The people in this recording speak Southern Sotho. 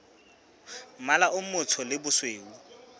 mmala o motsho le bosweu